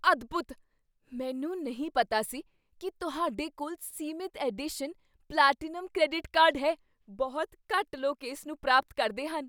ਅਦਭੁੱਤ! ਮੈਨੂੰ ਨਹੀਂ ਪਤਾ ਸੀ ਕੀ ਤੁਹਾਡੇ ਕੋਲ ਸੀਮਿਤ ਐਡੀਸ਼ਨ ਪਲੈਟੀਨਮ ਕ੍ਰੈਡਿਟ ਕਾਰਡ ਹੈ ਬਹੁਤ ਘੱਟ ਲੋਕ ਇਸ ਨੂੰ ਪ੍ਰਾਪਤ ਕਰਦੇ ਹਨ